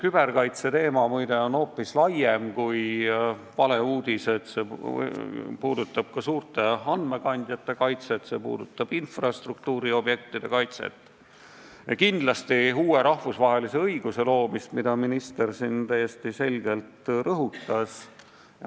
Kübarkaitseteema, muide, on hoopis laiem kui valeuudised, see puudutab ka suurte andmekandjate kaitset, see puudutab infrastruktuuriobjektide kaitset ning kindlasti uue rahvusvahelise õiguse loomist, mida minister siin täiesti selgelt rõhutas.